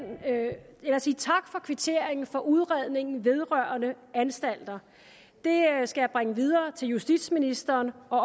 jeg sige tak for kvitteringen for udredningen vedrørende anstalterne det skal jeg bringe videre til justitsministeren og